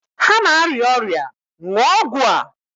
Ha na-arịa ọrịa, ṅụọ ọgwụ a!